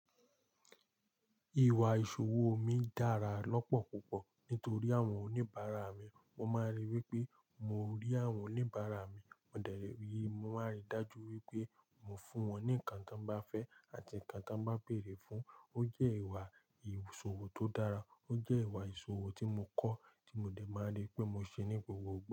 Ìwà ìsòwò mí dára lópò púpò nítorí àwon oníbaarà mí. Wọ́n máa ń ríi wí pé mo rí àwọn oníbàárà mi, mo dẹ̀ rí i, mo máa ń ríi dájú wípé mo fún wọn ní ǹkan tí wọ́n bá fẹ́ àti ǹkan tí wọ́n bá béèrè fún. Ó jè ìwà ìsòwò to dára, o jé ìwà ìsòwò ti mo kó ti mo de maa ri pé mo se ní gbogbo ìgbà.